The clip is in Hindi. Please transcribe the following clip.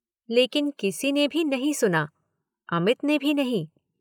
लेकिन किसी ने भी नहीं सुना। अमित ने भी नहीं।